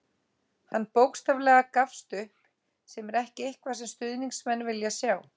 Hann bókstaflega gafst upp, sem er ekki eitthvað sem stuðningsmenn vilja sjá.